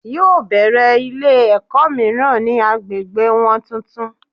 Yóò bèrè Ilé èkó míràn ni agbègbè won tuntun